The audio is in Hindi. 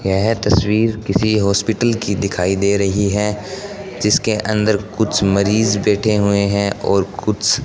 यह तस्वीर किसी हॉस्पिटल की दिखाई दे रही है जिसके अंदर कुछ मरीज बैठे हुए हैं और कुछ --